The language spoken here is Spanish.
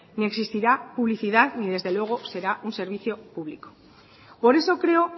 ni existirá publicidad ni desde luego será un servicio público por eso creo